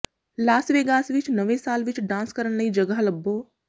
Las Vegas ਵਿਚ ਨਵੇਂ ਸਾਲ ਵਿਚ ਡਾਂਸ ਕਰਨ ਲਈ ਜਗ੍ਹਾ ਲੱਭੋ